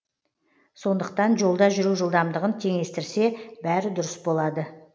сондықтан жолда жүру жылдамдығын теңестірсе бәрі дұрыс болады